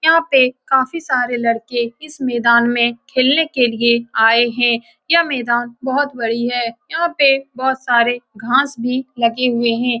यहाँ पे काफी सारे लड़के इस मैदान में खेलने के लिए आये है यह मैदान बहोत बड़ी है यहाँ पे बहोत सारे घाँस भी लगे हुए है।